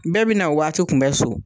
Bɛɛ bɛ na o waati kun bɛ so.